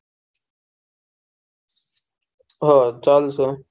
હા ચાલશે